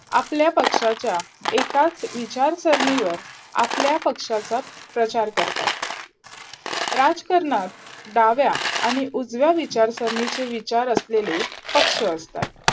आपल्या पक्षाच्या एकाच विचारसरणीवर आपल्या पक्षाचा प्रचार करतात राजकारणात डाव्या आणि उजव्या विचारसरणीची असलेली पक्ष असतात.